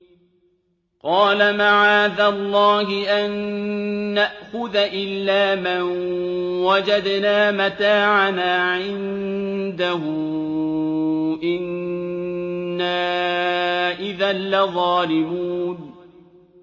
قَالَ مَعَاذَ اللَّهِ أَن نَّأْخُذَ إِلَّا مَن وَجَدْنَا مَتَاعَنَا عِندَهُ إِنَّا إِذًا لَّظَالِمُونَ